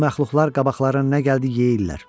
Bu məxluqlar qabaqlarına nə gəldi yeyirlər.